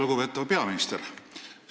Lugupeetav peaminister!